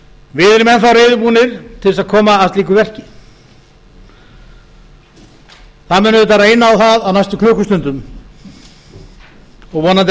við erum enn þá reiðubúnir til þess að koma að slíku verki það mun auðvitað reyna á það á næstu klukkustundum og vonandi